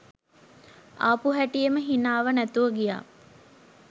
ආපු හැටියෙම හිනාව නැතුව ගියා.